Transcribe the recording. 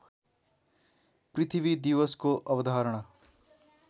पृथ्वी दिवसको अवधारणा